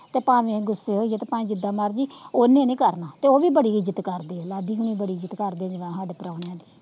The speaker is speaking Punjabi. ਤੇ ਭਾਵੇ ਅਸੀਂ ਗੁੱਸੇ ਹੋਈਏ, ਭਾਵੇ ਜਿੱਦ ਮਰਜੀ, ਓਨੇ ਨੀ ਕਰਨਾ, ਤੇ ਓਹਵੀ ਬੜੀ ਇੱਜਤ ਕਰਦੇ ਏ ਲਡੀ ਹੋਣੀ ਬੜੀ ਇੱਜਤ ਕਰਦੇ ਸਾਡੇ ਪਰਾਉਣਿਆਂ ਦੀ,